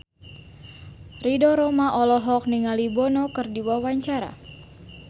Ridho Roma olohok ningali Bono keur diwawancara